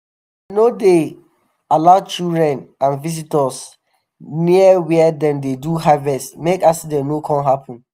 dem no dey allow children and visitors near wia dem dey do harvest make accident no come happen.